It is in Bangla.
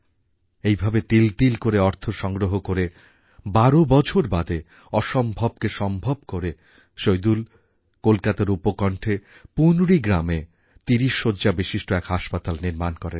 এইভাবে তিল তিল করে অর্থ সংগ্রহ করে বারো বছর বাদে অসম্ভবকে সম্ভব করে সইদুল কলকাতার উপকণ্ঠে পুনরি গ্রামে তিরিশ শয্যাবিশিষ্ট এক হাসপাতাল নির্মাণ করেন